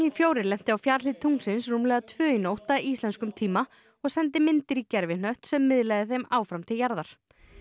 fjórum lenti á fjarhlið tunglsins rúmlega tvö í nótt að íslenskum tíma og sendi myndir í gervihnött sem miðlaði þeim áfram til jarðar